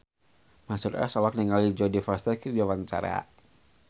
Mansyur S olohok ningali Jodie Foster keur diwawancara